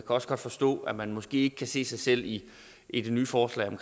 også godt forstå at man måske ikke kan se sig selv i i det nye forslag om